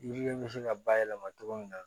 Yiriden bɛ se ka bayɛlɛma cogo min na